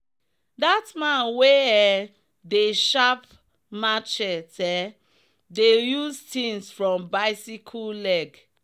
that man wey um dey sharp machetse um dey use things from bicyle leg.